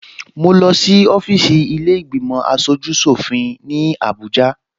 Mo lọ sí ọfíìsì ilé ìgbìmò aṣojú ṣòfin ní Abuja